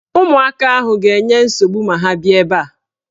Ụmụaka ahụ ga-enye nsogbu ma ha bịa ebe a.